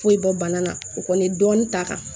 Foyi bɔ bana na o kɔni ye dɔɔnin ta